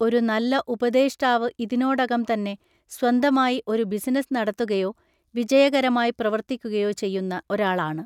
ഒരു നല്ല ഉപദേഷ്ടാവ് ഇതിനോടകം തന്നെ സ്വന്തമായി ഒരു ബിസിനസ്സ് നടത്തുകയോ വിജയകരമായി പ്രവർത്തിക്കുകയോ ചെയ്യുന്ന ഒരാളാണ്.